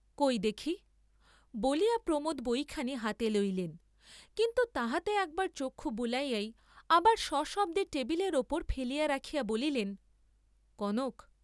কই দেখি বলিয়া প্রমোদ বইখানি হাতে লইলেন, কিন্তু তাহাতে একবার চক্ষু বুলাইয়াই আবার সশব্দে টেবিলের উপর ফেলিয়া রাখিয়া বলিলেন কনক!